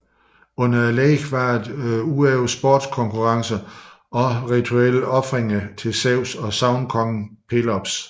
Under legene var der ud over sportskonkurrencerne også rituelle ofringer til Zeus og sagnkongen Pelops